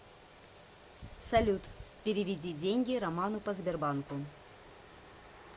салют переведи деньги роману по сбербанку